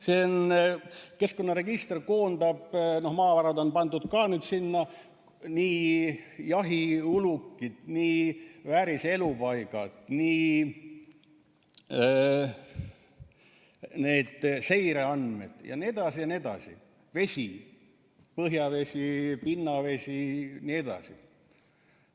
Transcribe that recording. See keskkonnaregister koondab, maavarad on pandud ka sinna, nii jahiulukid, nii vääriselupaigad, nii need seireandmed, vesi, põhjavesi, pinnavesi jne.